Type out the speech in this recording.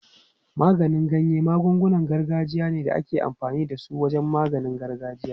Maganin ganya magungunan gargajiya ne da ake amfani da su wajen maganin gargajiya.